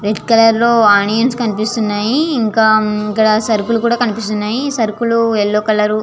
Red colour లో onions కనిపిస్తునై ఇంకా ఇక్కడ సరుకులు కూడా కనిపిస్తునై సరుకులు యెల్లో కలర్ .